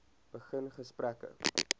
begin gesprekke